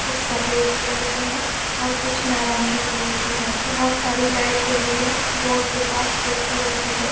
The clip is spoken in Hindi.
कुछ सफ़ेद कलर के है और कुछ नारंगी कलर के है बहुत सारी लाइट जली है बोर्ड के पास कुर्सी रखी है।